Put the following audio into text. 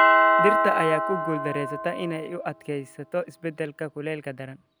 Dhirta ayaa ku guuldareysata inay u adkeysato isbeddelka kuleylka daran.